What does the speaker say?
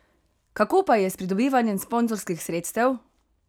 Kako pa je s pridobivanjem sponzorskih sredstev?